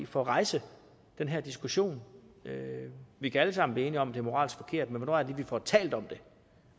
for at rejse den her diskussion vi kan alle sammen blive enige om det moralsk forkert men hvornår lige vi får talt om det